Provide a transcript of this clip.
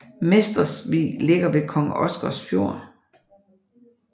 Mestersvig ligger ved Kong Oscars Fjord